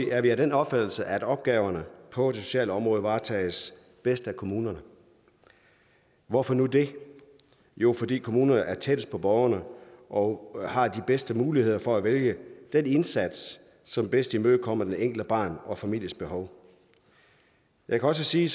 er vi af den opfattelse at opgaverne på det sociale område varetages bedst af kommunerne hvorfor nu det jo fordi kommunerne er tættest på borgerne og har de bedste muligheder for at vælge den indsats som bedst imødekommer det enkelte barns og familiens behov jeg kan også sige